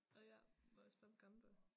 Og ja må jeg spørge hvor gammel du er?